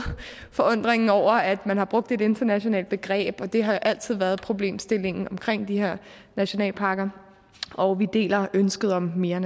forundringen over at man har brugt et internationalt begreb og det har jo altid været problemstillingen omkring de her nationalparker og vi deler ønsket om mere